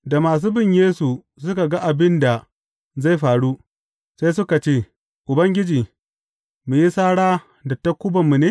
Da masu bin Yesu suka ga abin da zai faru, sai suka ce, Ubangiji, mu yi sara da takubanmu ne?